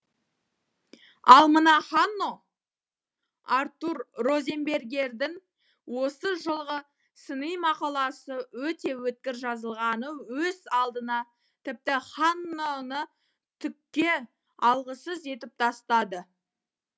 ал мына ханно артур розенбергердің осы жолғы сыни мақаласы өте өткір жазылғаны өз алдына тіпті ханноны түкке алғысыз етіп тастады